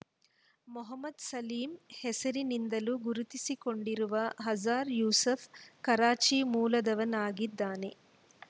ಮೊಹಮ್ಮದ್‌ ಸಲೀಮ್‌ ಹೆಸರಿನಿಂದಲೂ ಗುರುತಿಸಿಕೊಂಡಿರುವ ಅಜರ್‌ ಯೂಸೂಫ್‌ ಕರಾಚಿ ಮೂಲದವನಾಗಿದ್ದಾನೆ